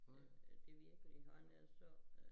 Øh det virkelig han er så øh